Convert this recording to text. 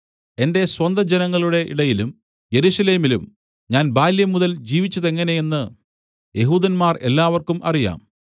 എന്റെ സ്വന്തം ജനങ്ങളുടെ ഇടയിലും യെരൂശലേമിലും ഞാൻ ബാല്യംമുതൽ ജീവിച്ചതെങ്ങനെയെന്ന് യെഹൂദന്മാർ എല്ലാവർക്കും അറിയാം